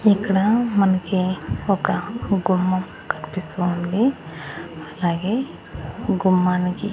ఇక్కడ మనకి ఒక గుమ్మం కన్పిస్తూ ఉంది అలాగే గుమ్మానికి--